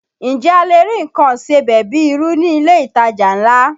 Ǹjẹ́ a lè rí nǹkan ìsebẹ̀ bíi irú ní ilé ìtajà ńlá?